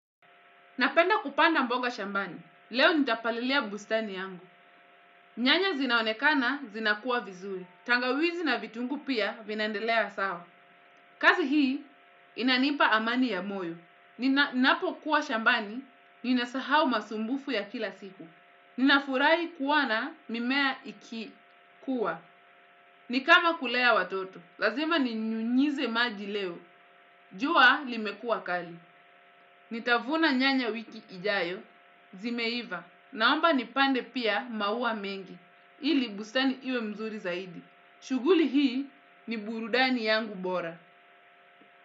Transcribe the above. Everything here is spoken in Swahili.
Napenda kupanda mboga shambani. Leo nitapalilia bustani yangu. Nyanya zinaonekana zinakua vizuri. Tangawizi na vitunguu pia vinandelea sawa. Kazi hii inanipa amani ya moyo. Ninapokuwa shambani, ninasahau masumbufu ya kila siku. Ninafurahi kuona mimea ikikua. Ni kama kulea watoto. Lazima ninyunyize maji leo. Jua limekuwa kali. Nitavuna nyanya wiki ijayo. Zimeiva, naomba nipande pia maua mengi ili bustani iwe mzuri zaidi shughuli hii ni burudani yangu bora.